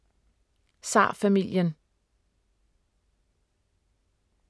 Zarfamilien